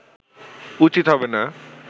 উচিত হবে না